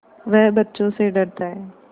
वह बच्चों से डरता है